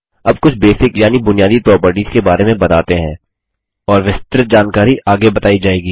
अब कुछ बेसिक यानि बुनियादी प्रोपर्टीज़ के बारे में बताते हैं और विस्तृत जानकारी आगे बताई जाएगी